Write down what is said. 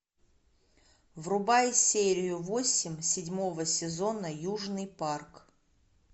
врубай серию восемь седьмого сезона южный парк